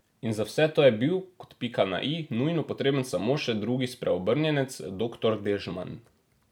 In za vse to je bil, kot pika na i, nujno potreben samo še drugi spreobrnjenec, doktor Dežman.